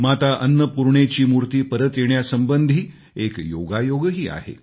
माता अन्नपूर्णेची मूर्ती परत येण्यासंबंधी एक योगायोगही आहे